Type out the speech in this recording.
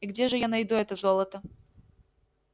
и где же я найду это золото